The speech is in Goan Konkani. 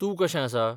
तूं कशें आसा?